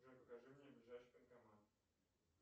джой покажи мне ближайший банкомат